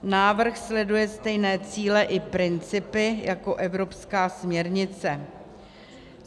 Návrh sleduje stejné cíle i principy jako evropská směrnice.